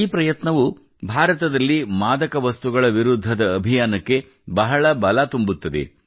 ಈ ಪ್ರಯತ್ನವು ಭಾರತದಲ್ಲಿ ಮಾದಕ ವಸ್ತುಗಳ ವಿರುದ್ಧದ ಅಭಿಯಾನಕ್ಕೆ ಬಹಳ ಬಲ ತುಂಬುತ್ತದೆ